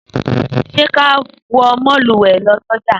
Sẹ ka wọ mòlúwẹ lọ sọjà?